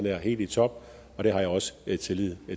er helt i top og det har jeg også tillid